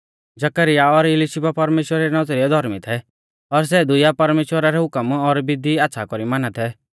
जकरयाह और इलिशीबा परमेश्‍वरा री नौज़रीऐ धौर्मी थै और सै दुइया परमेश्‍वरा रै हुकम और विधी आच़्छ़ा कौरी माना थै